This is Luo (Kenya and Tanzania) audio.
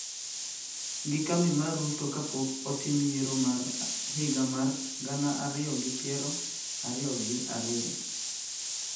gi kambi mar Ruto kapok otim yiero mar higa mar gana ariyo gi piero ariyo gi ariyo.